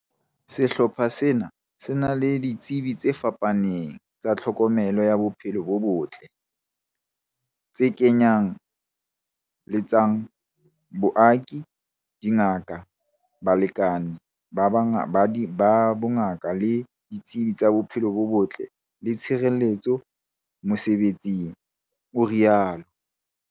Sehlopha sena se na le ditsebi tse fapaneng tsa tlhokomelo ya bophelo bo botle, tse kenye letsang, baoki, dingaka, balekani ba bongaka le ditsebi tsa bophelo bo botle le tshireletso mosebe tsing, o rialo.